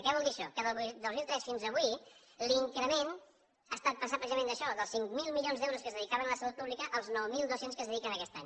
què vol dir això que del dos mil tres fins avui l’increment ha estat passar precisament d’això dels cinc mil milions d’euros que es dedicaven a la salut pública als nou mil dos cents que s’hi dediquen aquest any